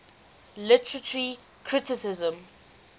literary criticism